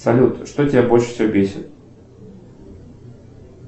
салют что тебя больше всего бесит